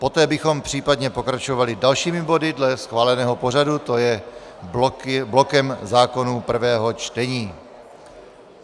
Poté bychom případně pokračovali dalšími body dle schváleného pořadu, to je blokem zákonů prvého čtení.